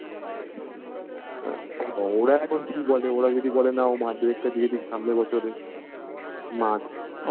ওরা এখন কি বলে ওরা যদি বলে না ও মাধ্যমিক তা দিয়েদিক সামনের বছরে মার্চ